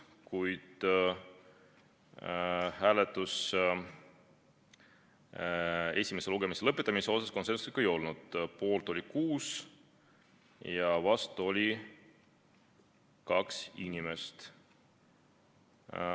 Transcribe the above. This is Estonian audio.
Kuid hääletus esimese lugemise lõpetamise suhtes konsensuslik ei olnud: poolt oli 6 ja vastu oli 2 inimest.